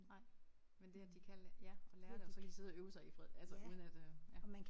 Nej. Men det at de kan ja og lære det og så kan de sidde og øve sig i fred altså uden at øh ja